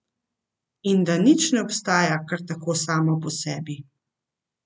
In da nič ne obstaja kar tako samo po sebi.